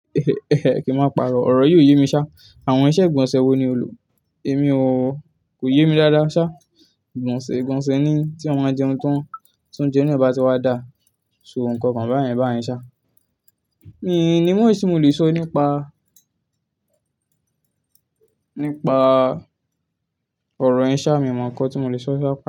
Kí n máa pàrọ̀, ọ̀rọ̀ yii o yé mi ṣá. Àwọn iṣẹ́ ìgbọ̀nsẹ̀ wo ni o lò? Èmi o, kò yé mi dáadáa ṣá. Ìgbọ̀nsẹ̀ ìgbọ̀nsẹ̀ ni tí eeyan báa jẹun tán ti óuńjẹ naa bàtí wa dà. So nǹkan kan báyen báyen ṣá. Mi n ní much tí mo le sọ nípa, nípa ọ̀rọ̀ yẹn ṣá, mi ò mọ nǹkan tí mo le sọ ṣa.